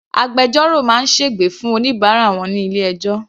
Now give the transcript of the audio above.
Agbẹjọ́rò máa sègbè fún oníbàárà wọn ní ilé ẹjọ́.